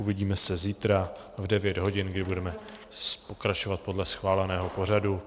Uvidíme se zítra v devět hodin, kdy budeme pokračovat podle schváleného pořadu.